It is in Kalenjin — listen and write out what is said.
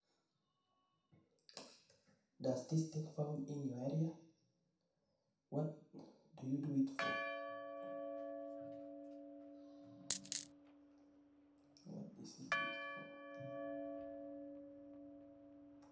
Does this thing found in your area? What do you do it for?